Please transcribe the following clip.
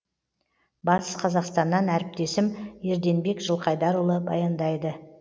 батыс қазақстаннан әріптесім ерденбек жылқайдарұлы баяндайды